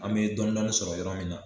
An me dɔnnin sɔrɔ yɔrɔ min na